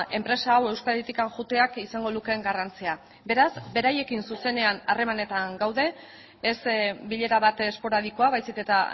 enpresa hau euskaditik joateak izango lukeen garrantzia beraz beraiekin zuzenean harremanetan gaude ez bilera bat esporadikoa baizik eta